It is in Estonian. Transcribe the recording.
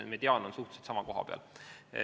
Ehk mediaan on suhteliselt sama koha peal.